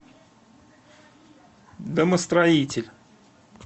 домостроитель